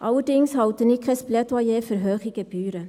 Allerdings halte ich kein Plädoyer für hohe Gebühren.